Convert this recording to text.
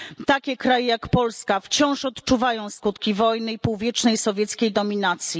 Takie kraje jak Polska wciąż odczuwają skutki wojny i półwiecznej sowieckiej dominacji.